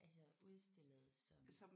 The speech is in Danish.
Altså udstillet som